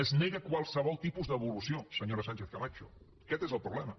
es nega qualsevol tipus d’evolució senyora sánchez camacho aquest és el problema